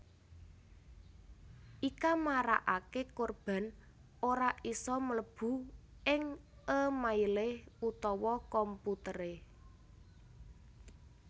Ika marakaké korban ora isa mlebu ing é mailé utawa komputeré